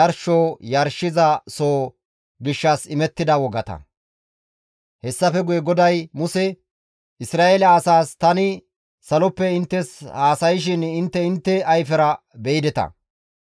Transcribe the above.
Hessafe guye GODAY Muse, «Isra7eele asaas, ‹Tani saloppe inttes haasayshin intte intte ayfera be7ideta.